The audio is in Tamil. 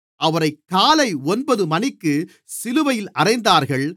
அவரைக் காலை ஒன்பது மணிக்குச் சிலுவையில் அறைந்தார்கள்